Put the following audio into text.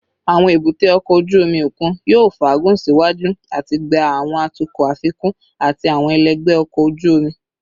Awọn ebute oko oju omi okun yoo faagun siwaju ati gba awọn atukọ afikun ati awọn ẹlẹgbẹ ọkọ oju omi